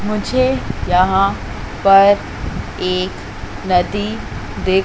मुझे यहां पर एक नदी दिख--